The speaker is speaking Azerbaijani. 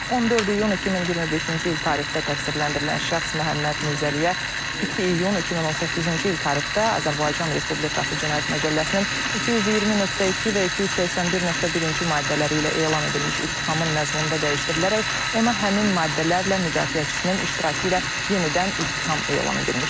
14 iyun 2025-ci il tarixdə təqsirləndirilən şəxs Məhəmməd Mirzəliyə 2 iyun 2018-ci il tarixdə Azərbaycan Respublikası Cinayət Məcəlləsinin 220.2 və 281.1-ci maddələri ilə elan edilmiş ittihamın məzmununda dəyişdirilərək ona həmin maddələrlə müdafiəçisinin iştirakı ilə yenidən ittiham elan edilmişdir.